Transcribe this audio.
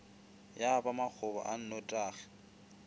ya ba makgoba a nnotagi